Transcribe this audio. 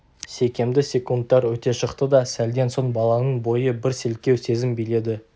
секемді секундтар өте шықты да сәлден соң баланың бойын бір селкеу сезім биледі